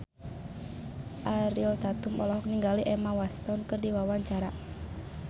Ariel Tatum olohok ningali Emma Watson keur diwawancara